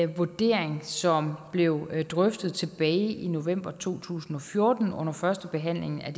vurdering som blev drøftet tilbage i november to tusind og fjorten under førstebehandlingen af